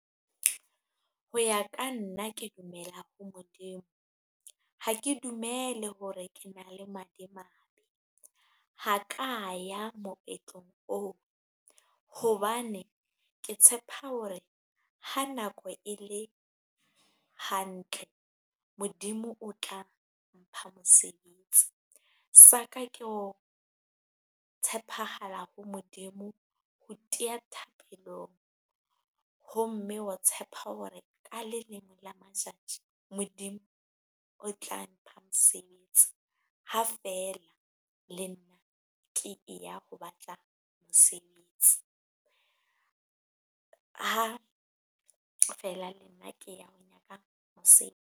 Ho ya ka nna ke dumela ho Modimo, ha ke dumele hore ke na le madimabe ha ka ya moetlong oo hobane ke tshepa hore ha nako e le hantle. Modimo o tla mpha mosebetsi sa ka ke ho tshepahala ho Modimo, ho tia thapelong ho mme, wa tshepa hore ka le lengwe la matjatji Modimo o tla mpha mosebetsi ha feela le nna ke e ya ho batla mosebetsi. Ha feela le nna ke ya ho nyaka .